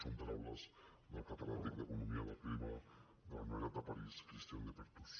són paraules del catedràtic d’economia del clima de la universitat de parís christian de perthuis